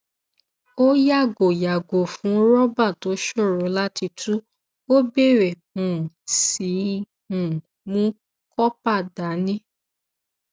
ó yàgò yàgò fún rọbà tó ṣòro láti tú ó bèrè um sí í um mú kópa dání